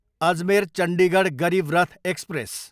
Ajmer, Chandigarh Garib Rath express